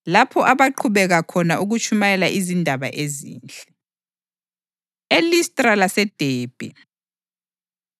lapho abaqhubeka khona ukutshumayela izindaba ezinhle. EListra LaseDebhe